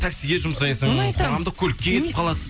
таксиге жұмсайсың қоғамдық көлікке кетіп қалады